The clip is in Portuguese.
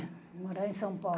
É, morar em São Paulo.